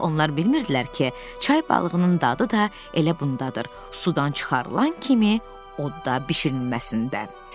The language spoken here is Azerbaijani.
Daha onlar bilmirdilər ki, çay balığının dadı da elə bundadır, sudan çıxarılan kimi odda bişirilməsində.